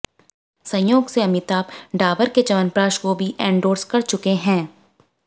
संयोग से अमिताभ डाबर के चयवनप्राश को भी एंडोर्स कर चुके हैं